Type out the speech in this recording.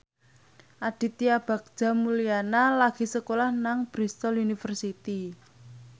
Aditya Bagja Mulyana lagi sekolah nang Bristol university